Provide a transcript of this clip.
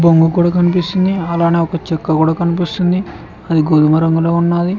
దుంగ కూడా కనిపిస్తుంది అలానే ఒక చక్క కూడా కనిపిస్తుంది అది గోధుమ రంగులో ఉన్నది.